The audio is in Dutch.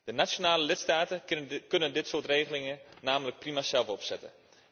De nationale lidstaten kunnen dit soort regelingen namelijk prima zelf opzetten.